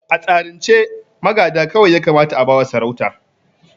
A tsarin ce magada kawai ya kamata a ba wa sarauta